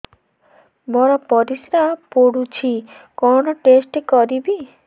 ମୋର ପରିସ୍ରା ପୋଡୁଛି କଣ ଟେଷ୍ଟ କରିବି